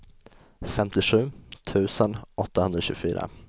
femtiosju tusen åttahundratjugofyra